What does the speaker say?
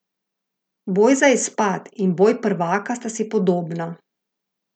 Boj za izpad in boj prvaka sta si podobna.